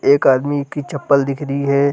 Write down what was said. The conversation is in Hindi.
एक आदमी की चप्पल दिख री है।